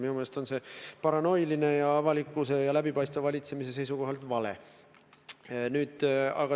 Minu meelest on see paranoiline, see on avalikkuse ja läbipaistva valitsemise seisukohalt vale.